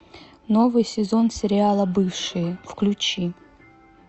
новый сезон сериала бывшие включи